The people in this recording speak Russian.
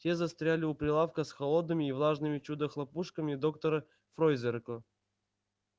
те застряли у прилавка с холодными и влажными чудо-хлопушками доктора фройзеркла